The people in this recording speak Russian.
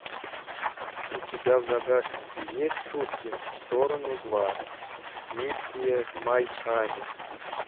у тебя в загашнике есть шутки в сторону два миссия в майами